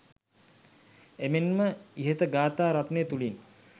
එමෙන්ම ඉහත ගාථා රත්නය තුළින්